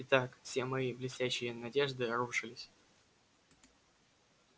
итак все мои блестящие надежды рушились